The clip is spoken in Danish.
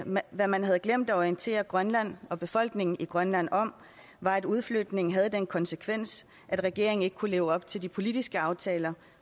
hvad man havde glemt at orientere grønland og befolkningen i grønland om var at udflytningen havde den konsekvens at regeringen ikke kunne leve op til de politiske aftaler